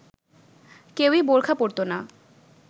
কেউই বোরখা পরতো না